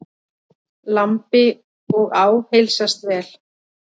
Lambi og á heilsast vel.